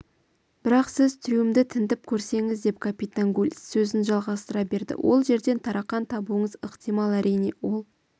бірақ сіз трюмді тінтіп көрсеңіз деп капитан гуль сөзін жалғастыра берді ол жерден тарақан табуыңыз ықтимал әрине ол